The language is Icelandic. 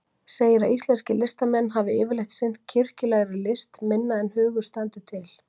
Segir að íslenskir listamenn hafi yfirleitt sinnt kirkjulegri list minna en hugur standi til.